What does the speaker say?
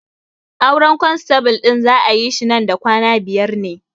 Auren kwanstabul ɗin za'a yi shi man da kwana biyar ne